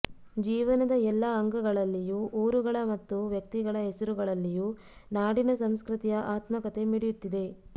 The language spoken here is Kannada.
ಜೀವನದ ಎಲ್ಲ ಅಂಗಗಳಲ್ಲಿಯೂ ಊರುಗಳ ಮತ್ತು ವ್ಯಕ್ತಿಗಳ ಹೆಸರುಗಳಲ್ಲಿಯೂ ನಾಡಿನ ಸಂಸ್ಕೃತಿಯ ಆತ್ಮಕಥೆ ಮಿಡಿಯುತ್ತಿದೆ